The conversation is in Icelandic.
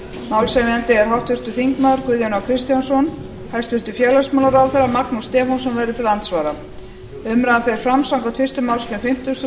málshefjandi er háttvirtur þingmaður guðjón a kristjánsson hæstvirts félagsmálaráðherra magnús stefánsson verður til andsvara umræðan fer fram samkvæmt fyrstu málsgrein fimmtugustu